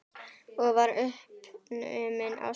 Og varð uppnuminn á svip.